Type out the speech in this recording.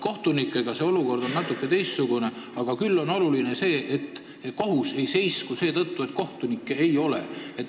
Kohtunike puhul on olukord natuke teistsugune, küll aga on oluline see, et kohtu töö ei seiskuks seetõttu, et kohtunikke ei ole.